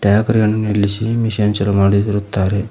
ಟ್ಯಾಕರಿಯನ್ನು ನಿಲ್ಲಿಸಿ ಮಿಷನ್ ಚಾಲು ಮಾಡಿರುತ್ತಾರೆ.